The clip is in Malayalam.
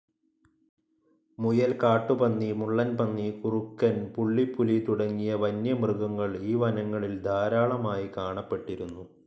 മുയൽ, കാട്ടുപന്നി, മുള്ളൻപന്നി, കുറുക്കൻ, പുള്ളിപ്പുലി തുടങ്ങിയ വന്യമൃഗങ്ങൾ ഈ വനങ്ങളിൽ ധാരാളമായി കാണപ്പെട്ടിരുന്നു.